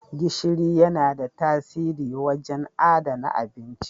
Gishiri yana da tasiri wajen adana abinci.